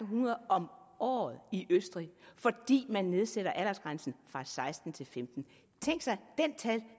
hundrede om året i østrig fordi man nedsatte aldersgrænsen fra seksten år til femten år tænk sig